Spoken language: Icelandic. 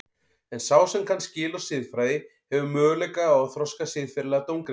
En sá sem kann skil á siðfræði hefur möguleika á að þroska siðferðilega dómgreind sína.